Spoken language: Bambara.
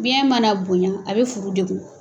Biyɛn mana bonɲa a bɛ furu degun.